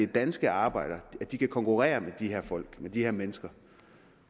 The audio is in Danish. danske arbejdere kan konkurrere med de her folk med de her mennesker